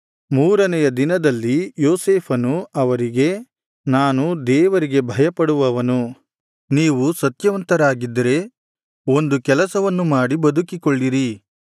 ಮೂರನೆಯ ದಿನದಲ್ಲಿ ಯೋಸೇಫನು ಅವರಿಗೆ ನಾನು ದೇವರಿಗೆ ಭಯಪಡುವವನು ನೀವು ಸತ್ಯವಂತರಾಗಿದ್ದರೆ ಒಂದು ಕೆಲಸವನ್ನು ಮಾಡಿ ಬದುಕಿಕೊಳ್ಳಿರಿ